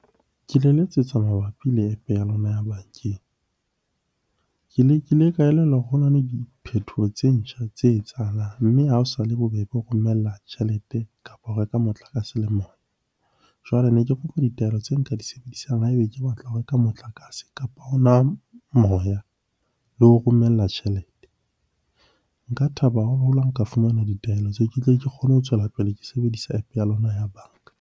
Ke le letsetsa mabapi le App-e ya lona ya bankeng. Ke lekile ka elellwa hore ho na le diphethoho tse ntjha tse etsahalang, mme ha o sa le bobebe ho romella tjhelete kapa ho reka motlakase le moya. Jwale ne ke kopa ditaelo tse nka di sebedisang ha ebe ke batla ho reka motlakase kapa hona moya, le ho romella tjhelete. Nka thaba haholo ha nka fumana ditaelo tseo ke tle ke kgone ho tswela pele ke sebedisa App-e ya lona ya banka.